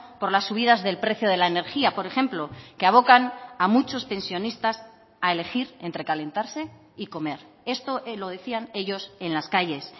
por las subidas del precio de la energía por ejemplo que abocan a muchos pensionistas a elegir entre calentarse y comer esto lo decían ellos en las calles